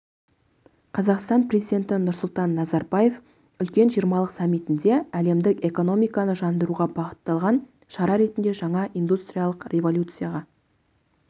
қазақстан президенті нұрсұлтан назарбаев үлкен жиырмалық саммитінде әлемдік экономиканы жандандыруға бағытталған шара ретінде жаңа индустриялық революцияға